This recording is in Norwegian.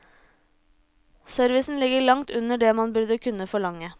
Servicen ligger langt under det man burde kunne forlange.